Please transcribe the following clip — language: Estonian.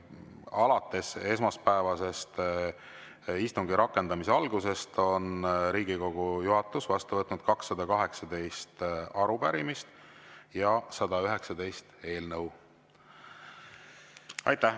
Alates esmaspäeval istungi rakendamise algusest on Riigikogu juhatus vastu võtnud 218 arupärimist ja 119 eelnõu.